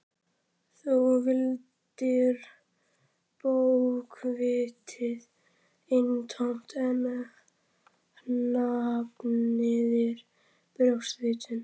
Þú valdir bókvitið eintómt en hafnaðir brjóstvitinu.